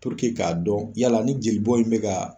k'a dɔn yala ni jeli bɔn in bɛ ka.